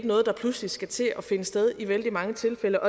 noget der pludselig skal til at finde sted i vældig mange tilfælde